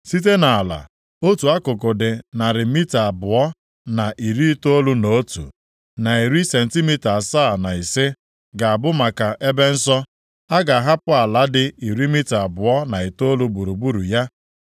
Site nʼala, otu akụkụ dị narị mita abụọ na iri itoolu na otu, na iri sentimita asaa na ise, ga-abụ maka ebe nsọ. A ga-ahapụ ala dị iri mita abụọ na itoolu gburugburu ya.